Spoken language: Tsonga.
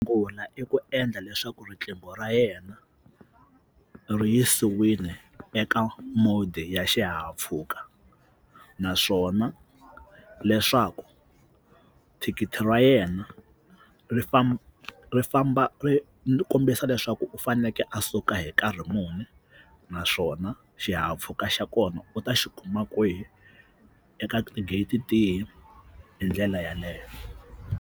I ku endla leswaku riqingho ra yena ri yisiwile eka mode ya xihahampfhuka naswona leswaku thikithi ra yena ri famba ri famba ri kombisa leswaku u fanekele a suka hi nkarhi muni naswona xihahampfhuka xa kona u ta xi kuma kwihi eka ti-gate tihi hi ndlela yeleyo.